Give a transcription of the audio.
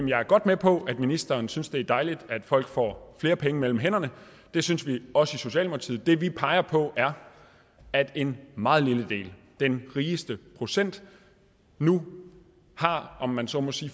jeg er godt med på at ministeren synes det er dejligt at folk får flere penge mellem hænderne det synes vi også i socialdemokratiet det vi peger på er at en meget lille del den rigeste procent nu om man så må sige